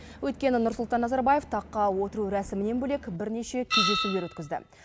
өйткені нұрсұлтан назарбаев таққа отыру рәсімінен бөлек бірнеше кездесулер өткізді